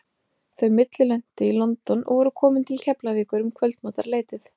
Þau millilentu í London og voru komin til Keflavíkur um kvöldmatarleytið.